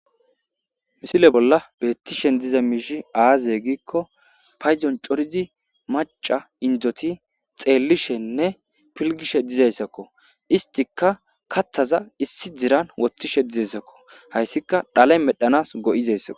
misile bolla beettishen diza miishi aaze giikko paydon corizi maca indoti xeellishenne pilgishe dizayssakko istika kathaza issi diran woththishe dizayssakko hayssika dhalay medhanas go7izayssak